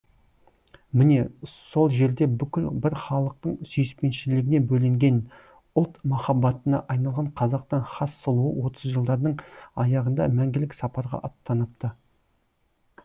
міне сол жерде бүкіл бір халықтың сүйіспеншілігіне бөленген ұлт махаббатына айналған қазақтың хас сұлуы отызыншы жылдардың аяғында мәңгілік сапарға аттаныпты